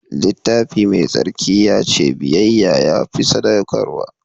Littafi Mai Tsarki ya ce biyayya ta fi sadaukarwa.